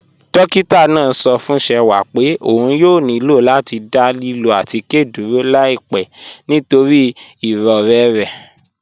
Dọ́kìtà náà sọ̀ fún Ṣẹ̀wà pé ọ̀n yóò nílọ̀ láti dá lílọ̀ àtikẹ́ dúró láìpẹ̀ nítorí iròrẹ̀ rẹ̀.